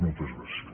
moltes gràcies